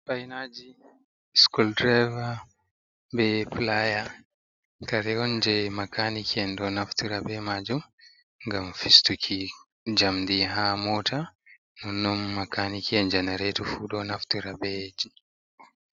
Fainaji skul diriva, be pilaya, karewon je makaniki enɗo naftura be majum ngam fistuki jamdi ha mota, nonon makani ke njanaretu fu ɗo naftira bejamdi.